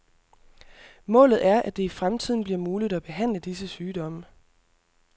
Målet er, at det i fremtiden bliver muligt at behandle disse sygdomme.